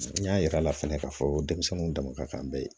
N y'a yir'a la fɛnɛ k'a fɔ denmisɛnninw dama bɛ ye